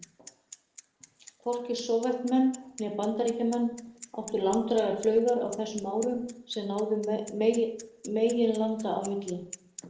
Hvorki Sovétmenn né Bandaríkjamenn áttu langdrægar flaugar á þessum árum sem náðu meginlanda á milli.